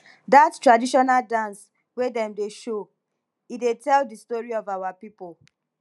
dat traditional dance wey dem dey show e dey tell di story of our pipo